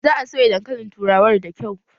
Za a soya dankalin turawan da kyau